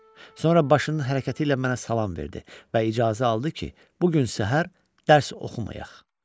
Sonra başının hərəkəti ilə mənə salam verdi və icazə aldı ki, bu gün səhər dərs oxumayaq.